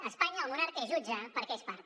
a espanya el monarca és jutge perquè és part